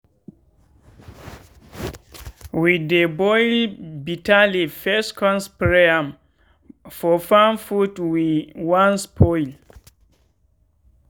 we dey boil bitter leaf first con spray am for farm food wey wan spoil.